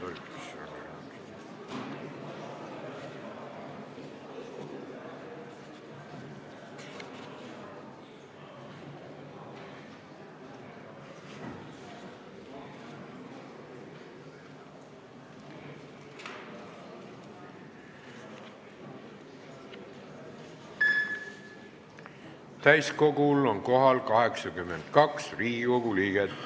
Kohaloleku kontroll Täiskogul on kohal 82 Riigikogu liiget.